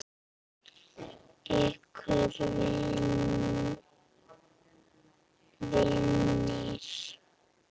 Ykkar vinir.